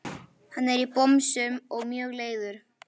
Hann er í bomsum og mjög leiður.